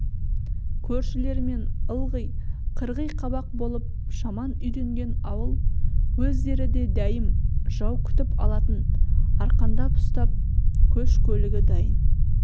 көршілерімен ылғи қырғи қабақ болып жаман үйренген ауыл өздері де дәйім жау күтіп атын арқандап ұстап көш-көлігі дайын